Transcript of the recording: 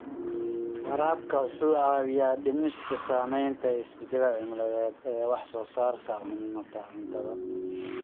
Waraabka wuxuu caawiyaa dhimista saameynta isbeddelka cimilada ee wax soo saarka cuntada.